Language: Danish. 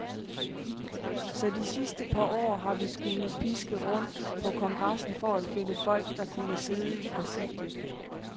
Så de sidste par år har vi skullet piske rundt på kongressen for at finde folk, der kunne sidde i præsidiet.